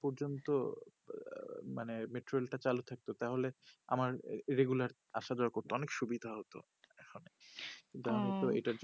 পর্যন্ত আঃ মানে metrol টা চালু থাকতো তাহলে আমার regular আসা যাওয়া করতো অনেকে সুবিধা হতো এখন শুধু মাত্র এটার জন্য ওহ